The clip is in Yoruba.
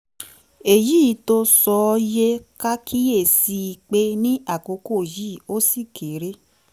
èyí tó sọ ó yẹ ká kíyè sí i pé ní àkókò yìí ó ṣì kéré